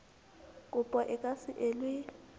kopo e ka se elwe